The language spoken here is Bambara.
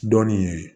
Dɔɔnin ye